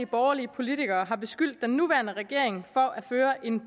borgerlige politikere har beskyldt den nuværende regering for at føre en